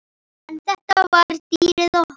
En þetta var dýrið okkar.